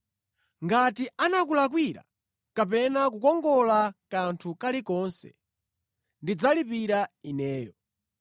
Ngati anakulakwira kapena kukongola kanthu kalikonse, ndidzalipira ineyo.